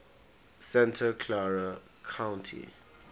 santa clara county